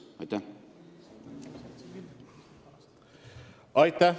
Aitäh!